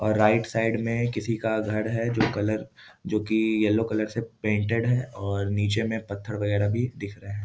और right side में किसी का घर है जो कलर जो कि येलो कलर से पेंटेड है और नीचे में पत्थर वगैरह भी दिख रहे हैं।